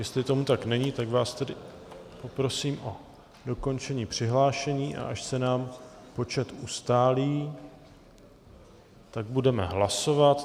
Jestli tomu tak není, tak vás tedy poprosím o dokončení přihlášení, a až se nám počet ustálí, tak budeme hlasovat.